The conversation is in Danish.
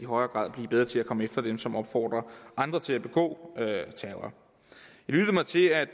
højere grad at blive bedre til at komme efter dem som opfordrer andre til at begå terror jeg lyttede mig til at